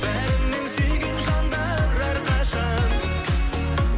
бәрінен сүйген жандар әрқашан